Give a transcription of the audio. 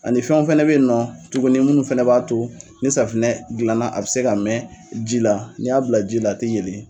Ani fɛnw fɛnɛ bɛ yen nɔ tuguni minnu fɛnɛ b'a to ni safinɛ dilanna a bɛ se ka mɛn ji la n'i y'a bila ji la a tɛ yeelen